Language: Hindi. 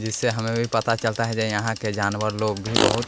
जिससे हमें भी पता चलता है जे यहाँ के जानवर लोग भी बहुत